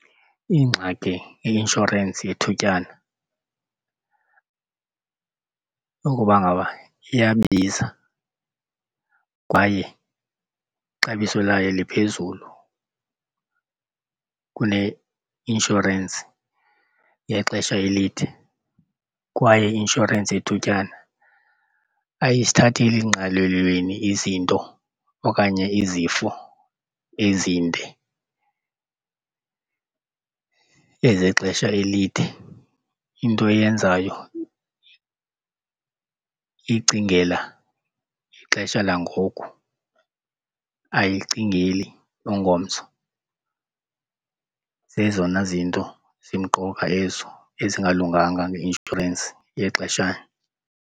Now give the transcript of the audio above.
Ingxaki yeinshorensi yethutyana ukuba ngaba iyabiza kwaye ixabiso layo liphezulu kuneinshorensi yexesha elide. Kwaye i-inshorensi yethutyana ayizithatheli ngqalelweni izinto okanye izifo ezinde, ezexesha elide. Into eyenzayo icingela ixesha langoku, ayilicingeli ungomso. Zezona zinto zimqoka ezo ezingalunganga ngeinshorensi yexeshana.